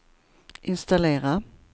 installera